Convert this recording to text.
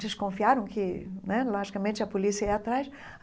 Desconfiaram que né, logicamente, a polícia ia atrás.